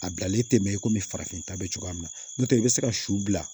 A bilalen tɛ mɛn i kɔmi farafin ta bɛ cogoya min na n'o tɛ i bɛ se ka su bila